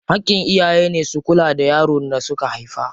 Haƙƙin iyaye ne su kula da yaron da suka haifa.